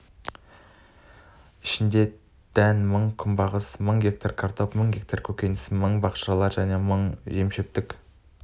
ішінде дән мың күнбағыс мың гектар картоп мың гектар көкөністер мың бақшалар мың және жемшөптік